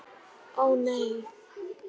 Ó, nei.